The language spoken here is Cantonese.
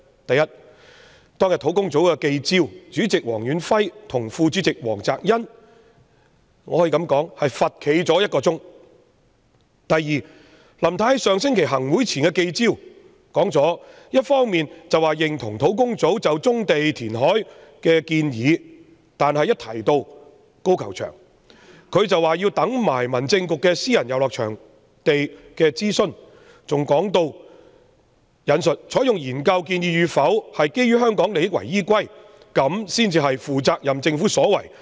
第一，當天在專責小組的記招，主席黃遠輝和副主席黃澤恩可說是罰站了1小時；第二，林太在上星期行政會議前的記招一方面表示認同專責小組就棕地和填海的建議，但一提到高球場，她則說要留待民政事務局就私人遊樂場地契約政策檢討的諮詢，還表示"採用研究建議與否是基於香港利益為依歸，這才是負責任政府所為......